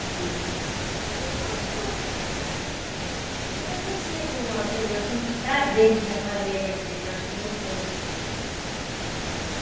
Que... Não, porque eu não sinto aquele... eu sinto prazer de estar fazendo aquilo, eu acho gostoso, né.